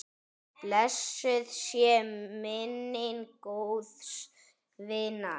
Blessuð sé minning góðs vinar.